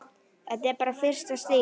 Þetta er bara fyrsta stigið.